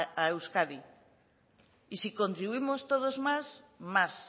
a euskadi y si contribuimos todos más más